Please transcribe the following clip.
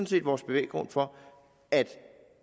set vores bevæggrund for at